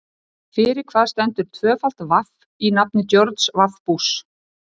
Rómverjar sömdu einnig leikrit en leikritun átti upphaf sitt í Grikklandi.